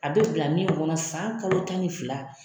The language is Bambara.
A bɛ bila min kɔnɔ san kalo tan ni fila.